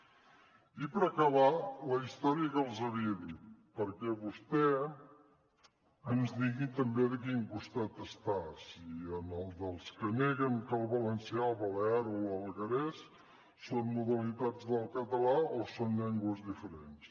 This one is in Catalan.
i per acabar la història que els havia dit perquè vostè ens digui també de quin costat està si en el dels que neguen que el valencià el balear o l’alguerès són modalitats del català o són llengües diferents